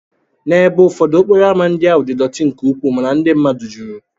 N'ebe ụfọdụ, okporo ámá ndị ahụ dị dọtí nke ukwuu mana ndị mmadụ juru.